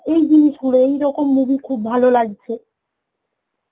এই জিনিসগুলো এই রকম movie খুব ভালো লাগছে